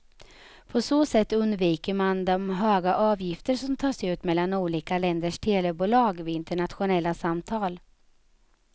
På så sätt undviker man de höga avgifter som tas ut mellan olika länders telebolag vid internationella samtal.